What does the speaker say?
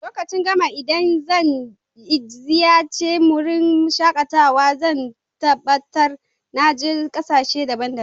Lokacin gaba idan zan ziyace wurin shakatawa zan tabatar na je sashe daban-daban.